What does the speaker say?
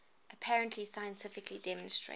apparently scientifically demonstrated